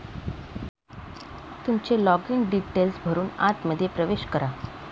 तुमचे login details भरून आतमध्ये प्रवेश करा